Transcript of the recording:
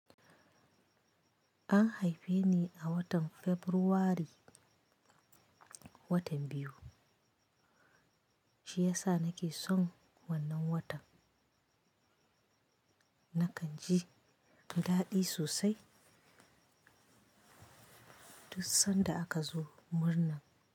An haife ni a watan Fabrairu watan biyu, shi ya sa nake son wannan watan. Nakan ji daɗi sosai duk sanda aka zo murna.